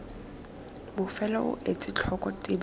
bofelo o etse tlhoko tebego